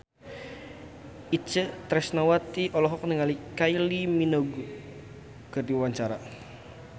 Itje Tresnawati olohok ningali Kylie Minogue keur diwawancara